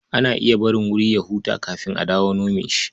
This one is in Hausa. Ana iya barin wuri ya huta kafin a dawo a nome shi.